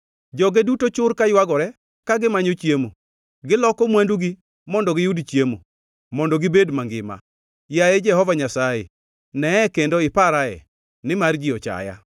Joge duto chur kaywagore ka gimanyo chiemo; giloko mwandugi mondo giyud chiemo, mondo gibed mangima. “Yaye Jehova Nyasaye, neye kendo iparae, nimar ji ochaya.”